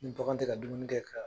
Ni bagan tɛ ka dumuni kɛ ka